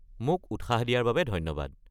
মোক উৎসাহ দিয়াৰ বাবে ধন্যবাদ।